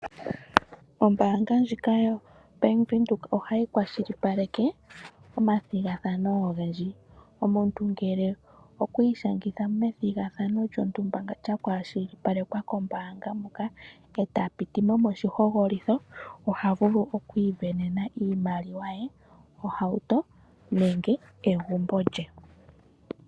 Ombaanga ndjika yoBank Windhoek ohayi kwashilipaleke omathigathano ogendji, omuntu ngele okwi ishangitha methigathano lyontumba ndono lyakwashilipalekwa kombaanga ndjika e ta piti mo moshihogololitho oha vulu oku isindanena iimaliwa ye, ohauto nenge egumbo lye.